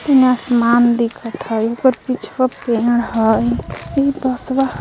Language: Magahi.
फिन आसमान दिखत थई उपर पिछवा पेड़ हई इ बसवा --